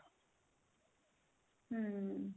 hm